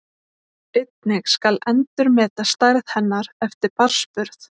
Einnig skal endurmeta stærð hennar eftir barnsburð.